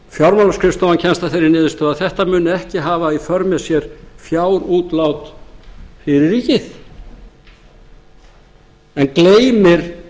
fjárlagaskrifstofan kemst að þeirri niðurstöðu að þetta muni ekki hafa í för með sér fjárútlát fyrir ríkið en gleymir